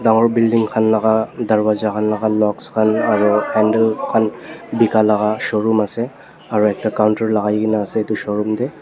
dangor building khan laka darbajakhan laka loks khan handle khan laka showroom ase.